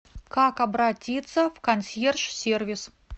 как обратиться в консьерж сервис